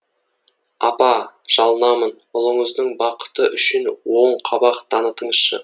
апа жалынамын ұлыңыздың бақыты үшін оған оң қабақ танытыңызшы